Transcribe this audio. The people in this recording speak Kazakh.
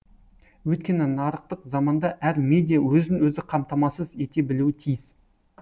өйткені нарықтық заманда әр медиа өзін өзі қамтамасыз ете білуі тиіс